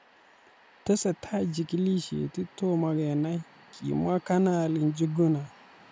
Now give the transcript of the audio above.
"Tesetai jigilisiet ,tomo kenai ,"kimwa Kanali Njuguna